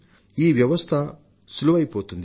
ఈ వ్యవస్థ సులువైపోతుంది